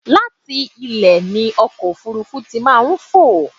Láti ilẹ̀ ni ọkọ̀ òfúrúfú tí máa ń fò.